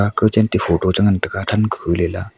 kao chan ta photo e ngan taiga tham khu Lela.